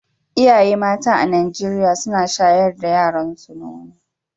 Iyaye mata a Najeriya suna shayar da yaranso nono.